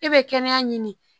E bɛ kɛnɛya ɲini